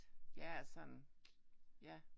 Ja sådan ja